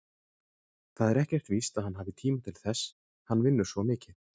Það er ekkert víst að hann hafi tíma til þess, hann vinnur svo mikið.